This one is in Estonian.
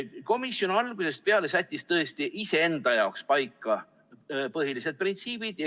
Komisjon algusest peale sättis tõesti iseenda jaoks paika põhilised printsiibid.